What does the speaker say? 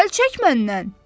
Əl çək məndən!